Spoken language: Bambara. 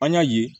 An y'a ye